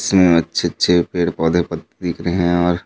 इसमें अच्छे-अच्छे पेड़-पौधे पत्ती दिख रहे हे और